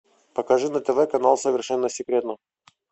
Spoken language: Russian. покажи на тв канал совершенно секретно